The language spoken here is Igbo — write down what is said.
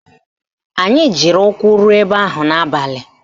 Anyị jiri ụkwụ ruo ebe ahụ n'abalị